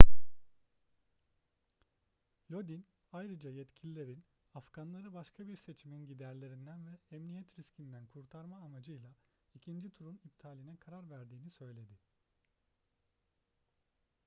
lodin ayrıca yetkililerin afganları başka bir seçimin giderlerinden ve emniyet riskinden kurtarma amacıyla ikinci turun iptaline karar verdiğini söyledi